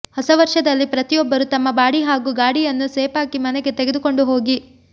ಹೊಸ ವರ್ಷದಲ್ಲಿ ಪ್ರತಿಯೊಬ್ಬರು ತಮ್ಮ ಬಾಡಿ ಹಾಗೂ ಗಾಡಿಯನ್ನು ಸೇಫ್ ಆಗಿ ಮನೆಗೆ ತೆಗೆದುಕೊಂಡು ಹೋಗಿ